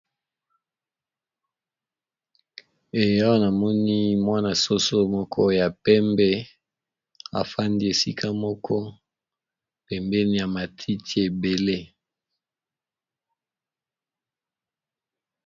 Awa na moni mwana-soso moko ya pembe afandi esika moko pembeni ya matiti ebele.